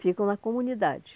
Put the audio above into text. Ficam na comunidade.